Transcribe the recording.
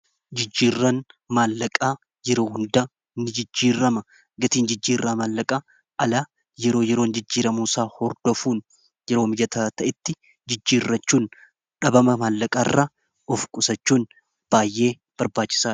Jijjiirran maallaqaa yeroo hundaa ni jijjiirrama gatiin jijjiiirraa maallaqaa alaa yeroo yeroon jijjiiramu isaa hordofuun yeroo miyata ta'itti jijjiirrachuun dhabama maallaqaa irraa of qusachuun baay'ee barbaachisa.